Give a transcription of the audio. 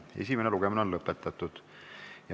Esimene lugemine on lõpetatud.